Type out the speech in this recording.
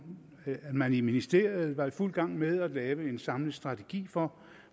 at man i ministeriet var i fuld gang med at lave en samlet strategi for